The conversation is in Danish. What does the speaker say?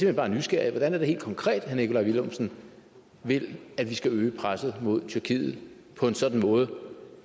hen bare nysgerrig hvordan er det helt konkret herre nikolaj villumsen vil at vi skal øge presset mod tyrkiet på en sådan måde